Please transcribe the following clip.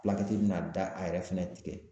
bɛna da a yɛrɛ fɛnɛ tigɛ